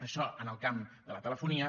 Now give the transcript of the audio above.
això en el camp de la telefonia